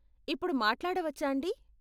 ఇప్పుడు మాట్లాడవచ్చాండీ?